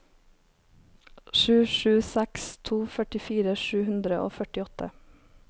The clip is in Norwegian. sju sju seks to førtifire sju hundre og førtiåtte